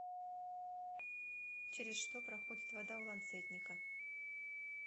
через что проходит вода у ланцетника